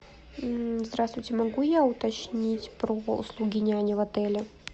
здравствуйте могу я уточнить про услуги няни в отеле